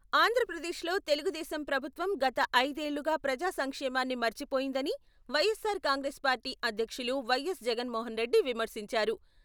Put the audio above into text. ఆంధ్రప్రదేశ్లో తెలుగుదేశం ప్రభుత్వం గత ఐదేళ్లుగా ప్రజా సంక్షేమాన్ని మర్చిపోయిందని వైఎస్సార్ కాంగ్రెస్ పార్టీ అధ్యక్షులు వైఎస్. జగన్మోహన్రెడ్డి విమర్శించారు.